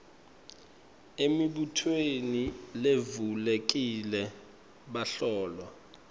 emibutweni levulekile bahlolwa